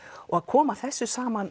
og að koma þessu saman